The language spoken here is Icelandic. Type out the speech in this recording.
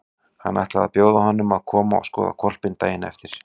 Hann ætlaði að bjóða honum að koma og skoða hvolpinn daginn eftir.